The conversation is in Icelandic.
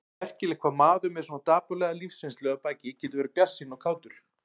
Merkilegt hvað maður með svona dapurlega lífsreynslu að baki getur verið bjartsýnn og kátur.